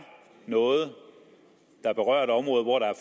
noget der berører et område hvor der er